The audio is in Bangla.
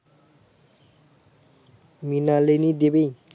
মৃণালিনী দেবী